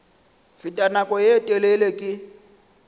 fete nako ye telele ke